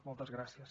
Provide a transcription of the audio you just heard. moltes gràcies